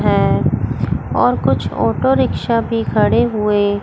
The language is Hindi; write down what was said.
है और कुछ ऑटो रिक्शा भी खड़े हुए--